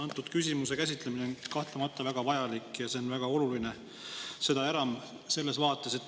Antud küsimuse käsitlemine on kahtlemata väga vajalik ja väga oluline,.